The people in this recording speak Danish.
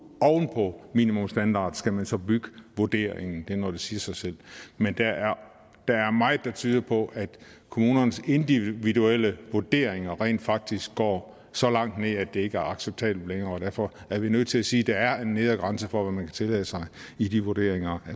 oven på minimumsstandarden skal man så bygge vurderingen det er noget der siger sig selv men der er meget der tyder på at kommunernes individuelle vurderinger rent faktisk går så langt ned at det ikke acceptabelt og derfor er vi nødt til at sige at der er en nedre grænse for hvad man kan tillade sig i de vurderinger